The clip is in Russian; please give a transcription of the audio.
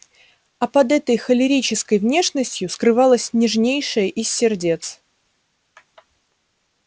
а под этой холерической внешностью скрывалось нежнейшее из сердец